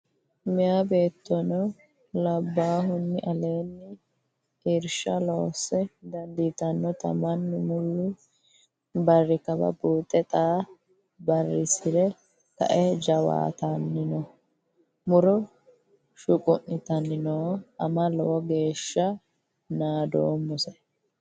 Meeya beettono labbahuni aleenni irsha loosse dandiittanotta mannu muli barri kawalla buuxe xa barisire kae jawaattanni no ,muro shuquttanni no ama lowo geeshsha naadommose.